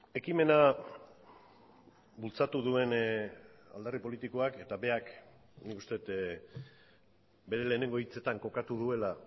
ekimena bultzatu duen alderdi politikoak eta berak nik uste dut bere lehenengo hitzetan kokatu duela